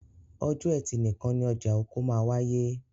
Ọjọ́ ẹtì nìkan ni ọjà oko máa wááyé